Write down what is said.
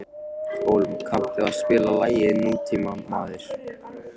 Hólm, kanntu að spila lagið „Nútímamaður“?